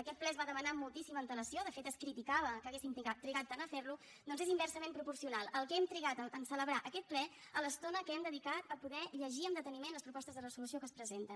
aquest ple es va demanar amb moltíssima antelació de fet es criticava que haguéssim trigat tant a ferlo doncs és inversament proporcional el que hem trigat a celebrar aquest ple a l’estona que hem dedicat a poder llegir amb deteniment les propostes de resolució que es presenten